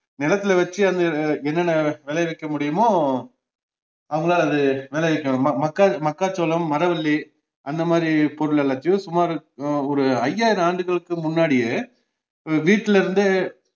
நிலத்துல வச்சு அதை என்னென்ன விளைவிக்க முடியுமோ அவங்களால அது விளைவிக்க ம~ ம ~ மக்காச்சோளம், மரவல்லி அந்தமாதிரி பொருள் எல்லாத்தையும் சுமார் ஒரு ஐயாயிரம் ஆண்டுகளுக்கு முன்னடியே வீட்டுல இருந்தே